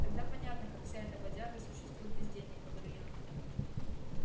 тогда понятно как вся эта бодяга существует без денег говорю я